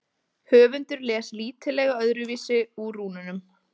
Höfundur les lítillega öðruvísi úr rúnunum.